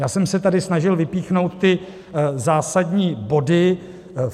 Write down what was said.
Já jsem se tady snažil vypíchnout ty zásadní body.